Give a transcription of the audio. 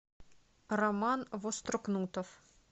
роман вострокнутов